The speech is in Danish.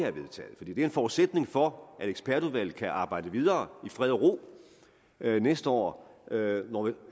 er en forudsætning for at ekspertudvalget kan arbejde videre i fred og ro næste år